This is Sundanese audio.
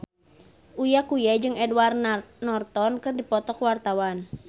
Uya Kuya jeung Edward Norton keur dipoto ku wartawan